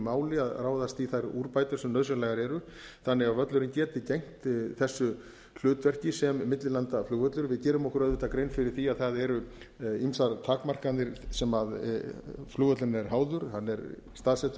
máli að ráðast í þær úrbætur sem nauðsynlegar eru þannig að völlurinn geti gegnt þessu hlutverki sem millilandaflugvallar við gerum okkur auðvitað grein fyrir því að það eru ýmsar takmarkanir sem flugvöllurinn er háður hann er staðsettur